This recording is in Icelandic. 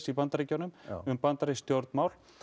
í Bandaríkjunum um bandarísk stjórnmál